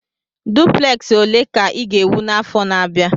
Dupleksi ole ka ị ga-ewu n'afọ na-abịa?